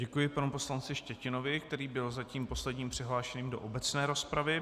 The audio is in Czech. Děkuji panu poslanci Štětinovi, který byl zatím poslední přihlášený do obecné rozpravy.